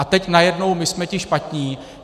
A teď najednou my jsme ti špatní.